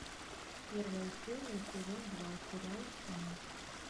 первая серия сезон два сериал штамм